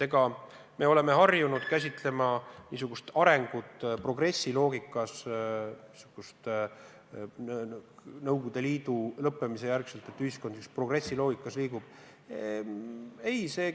Eks me oleme harjunud arengut käsitlema progressiloogika järgi: et pärast Nõukogude Liidu lõppemist liigub ühiskond progressiloogika kohaselt.